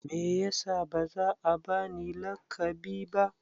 Me yasa ba za a ba ni laƙabi ba?